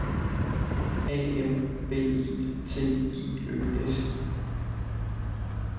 A M B I T I Ø S